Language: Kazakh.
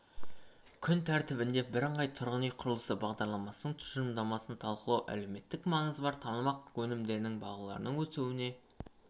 күн тәртібінде бірыңғай тұрғын үй құрылысы бағдарламасының тұжырымдамасын талқылау әлеуметтік маңызы бар тамақ өнімдеріне бағалардың өсуіне